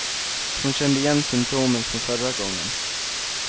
Hon kände igen symptomen från förra gången.